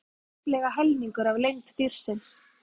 Halinn var tæplega helmingur af lengd dýrsins.